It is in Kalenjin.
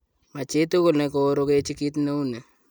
Machitugul nekoorogechi kit neu ni.